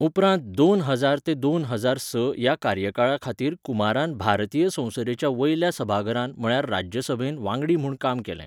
उपरांत दोन हजार तें दोन हजार स ह्या कार्यकाळा खातीर कुमारान भारतीय संसदेच्या वयल्या सभाघरांत म्हळ्यार राज्यसभेंत वांगडी म्हूण काम केलें.